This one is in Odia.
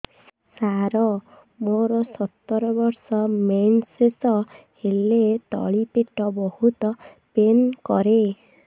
ସାର ମୋର ସତର ବର୍ଷ ମେନ୍ସେସ ହେଲେ ତଳି ପେଟ ବହୁତ ପେନ୍ କରେ